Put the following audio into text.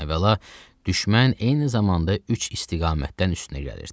Əvvəla, düşmən eyni zamanda üç istiqamətdən üstünə gəlirdi.